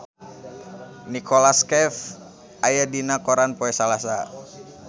Nicholas Cafe aya dina koran poe Salasa